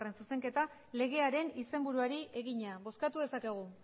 zuzenketa legearen izenburuari egina bozkatu dezakegu